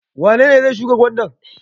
Wane ne zai shuka gwanda?